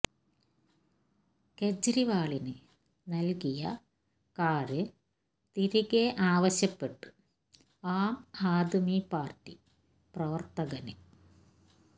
കെജ്രിവാളിന് നല്കിയ കാര് തിരികെ ആവശ്യപ്പെട്ട് ആം ആദ്മി പാര്ട്ടി പ്രവര്ത്തകന്